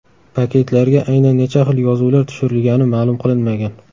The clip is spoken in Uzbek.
Paketlarga aynan necha xil yozuvlar tushirilgani ma’lum qilinmagan.